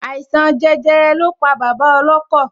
Àìsàn jẹjẹrẹ lọ pa bàbá ọlọ́kọ̀